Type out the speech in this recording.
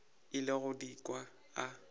ile go di kwa a